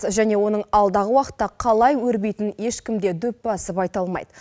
және оның алдағы уақытта қалай өрбитінін ешкімде дөп басып айта алмайды